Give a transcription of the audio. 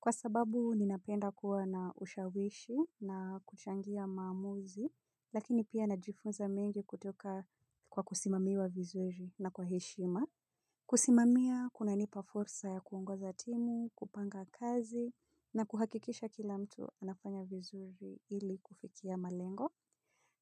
Kwa sababu ninapenda kuwa na ushawishi na kuchangia maamuzi. Lakini pia najifunza mengi kutoka kwa kusimamiwa vizuri na kwa heshima. Kusimamia kunanipa fursa ya kuongoza timu, kupanga kazi na kuhakikisha kila mtu anafanya vizuri ili kufikia malengo.